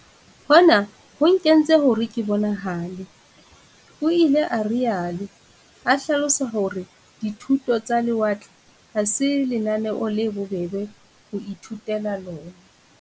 Hona ho nkentse hore ke bonahale, o ile a rialo, a hlalosa hore dithuto tsa lewatle ha se lenaneo le bobebe ho ithutela lona.